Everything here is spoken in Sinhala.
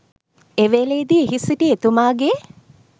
එවේලේදි එහි සිටි එතුමාගේ